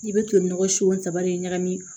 I bɛ to nɔgɔ si in ta bali ɲagami